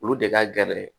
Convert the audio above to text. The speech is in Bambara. Olu de ka gɛlɛn